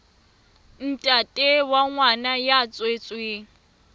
ntate wa ngwana ya tswetsweng